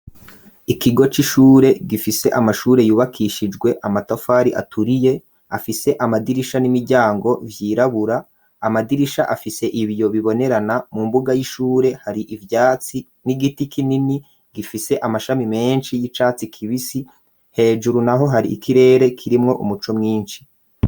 Ikigo c'ishure gifise amashure yubakishijwe amatafari aturiye afise amadirisha n'imiryango vyirabura amadirisha afise ibyo bibonerana mu mbuga y'ishure hari ibyatsi n'igiti kinini gifise amashami menshi y'icatsi kibisi hejuru naho hari ikirere kirimwo umuco mwinshi.